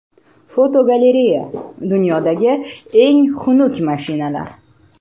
Fotogalereya: Dunyodagi eng xunuk mashinalar.